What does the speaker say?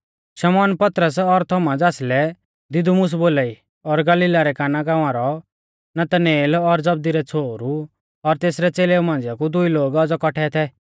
शमौन पतरस और थोमा ज़ासलै दिदुमुस बोलाई और गलीला रै काना गाँवा रौ नतनएल और जबदी रै छ़ोहरु और तेसरै च़ेलेऊ मांझ़िआ कु दुई लोग औज़ौ कौट्ठै थै